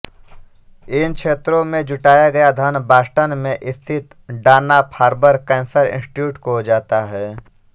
इन क्षेत्रों में जुटाया गया धन बॉस्टन में स्थित डानाफार्बर कैंसर इंस्टिट्यूट को जाता है